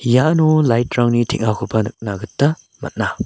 iano light-rangni teng·akoba nikna gita man·a.